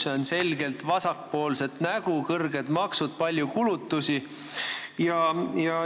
See on selgelt vasakpoolset nägu: kõrged maksud, palju kulutusi.